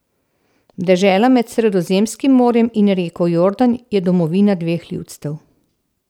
Dežela med Sredozemskim morjem in reko Jordan je domovina dveh ljudstev.